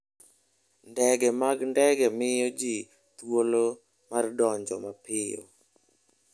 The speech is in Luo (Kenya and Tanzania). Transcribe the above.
Ndege mag ndege miyo ji thuolo mar donjo mapiyo.